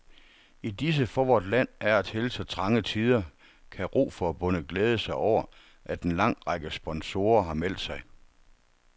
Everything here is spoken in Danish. I disse for vort land af og til så trange tider kan roforbundet glæde sig over, at en lang række sponsorer har meldt sig.